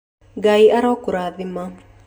Ngai arokũrathima